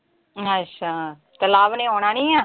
ਅੱਛਾ ਤੇ ਲਵ ਨੇ ਆਉਣਾ ਨੀਂ ਆ?